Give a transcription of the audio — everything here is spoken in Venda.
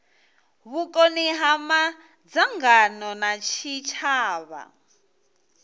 vhukoni ha madzangano a tshitshavha